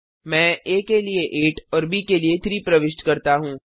मैं आ के लिए 8 और ब के लिए 3 प्रविष्ट करता हूँ